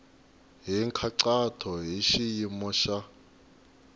hi nkhaqato hi xiyimo xa